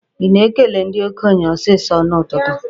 Ị na-ekele ndị okenye sọsọ n'ụtụtụ?